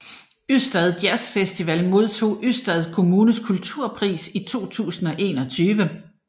Ystad Jazz Festival modtog Ystad Kommunes kulturpris i 2021